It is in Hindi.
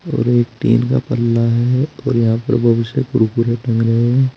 और एक टीन का पल्ला है और यहां पर बहुत सारे कुरकुरे टंगे हैं।